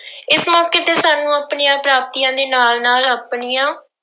ਇਸ ਮੌਕੇ ਤੇ ਸਾਨੂੰ ਆਪਣੀਆਂ ਪ੍ਰਾਪਤੀਆਂ ਦੇ ਨਾਲ ਨਾਲ ਆਪਣੀਆਂ